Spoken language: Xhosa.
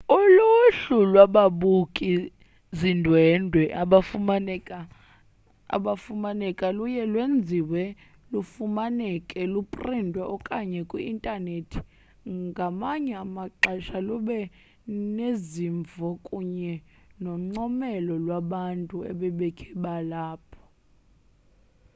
uluhlu lwababuki zindwendwe abafumaneka luye lwenziwe lufumaneke luprintiwe okanye kwi-intanethi ngamanye amaxesha luba nezimvo kunye noncomelo lwabantu ebebekhe bahlala apho